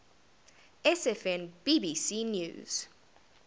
sfn bbc news